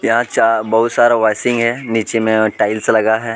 यहाँ चा--बोहोत सारा वॉइसीग है निचे में टाइल्स लगा हुआ है.